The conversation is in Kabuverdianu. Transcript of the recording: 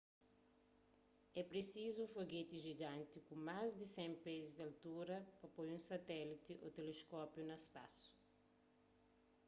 é prisizu un fogeti jiganti ku más di 100 pés di altura pa poi un satéliti ô teleskópiu na spasu